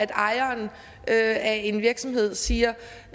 ejeren af en virksomhed siger